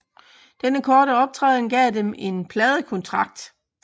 Denne korte optræden gav dem en pladekontrakt